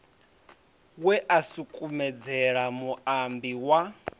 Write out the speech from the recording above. we a sukumedzela muambi wa